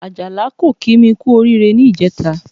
Àjàlá kò kí mi kú oríire ní ìjẹta